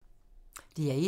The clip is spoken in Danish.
DR1